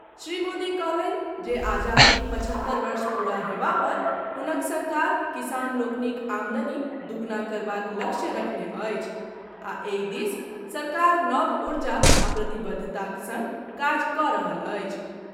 श्री मोदी कहलनि जे आजादीक पचहत्तर वर्ष पूरा हेबा पर हुनक सरकार किसान लोकनिक आमदनी दूगुना करबाक लक्ष्य रखने अछि आ एहि दिस सरकार नव ऊर्जा आ प्रतिबद्धताक संग काज कऽ रहल अछि।